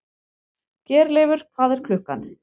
Geirleifur, hvað er klukkan?